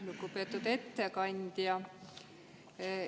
Lugupeetud ettekandja!